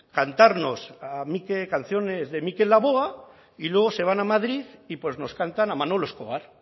cantarnos canciones de mikel laboa y luego se van a madrid y pues nos cantan a manolo escobar